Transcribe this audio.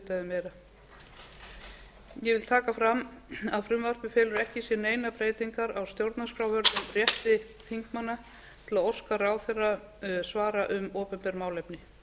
meira ég vil taka fram að frumvarpið felur ekki í sér neinar breytingar á stjórnarskrárvörðum rétti þingmanna til að óska ráðherra svara um opinber málefni